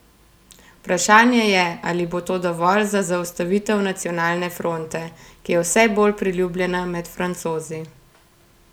Vprašanje je, ali bo to dovolj za zaustavitev Nacionalne fronte, ki je vse bolj priljubljena med Francozi.